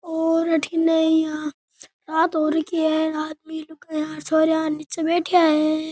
और अठीने यहाँ रात हो रखी है आदमी लुगाईया छोरिया निचे बैठया है।